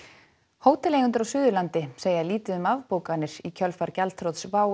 hóteleigendur á Suðurlandi segja lítið um afbókanir í kjölfar gjaldþrots WOW